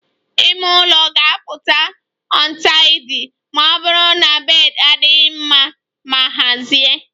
Ime ụlọ ga-apụta untidy ma ọ bụrụ na bed adịghị mma ma hazie